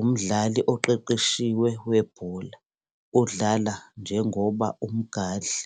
umdlali oqeqeshiwe webhola odlala njengoba Umgadli